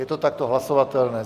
Je to takto hlasovatelné.